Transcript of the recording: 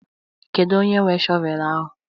Kedu onye nwe shọvel ahụ?